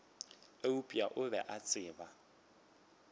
eupša o be a tseba